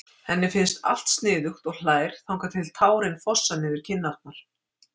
Henni finnst allt sniðugt og hlær þangað til tárin fossa niður kinnarnar.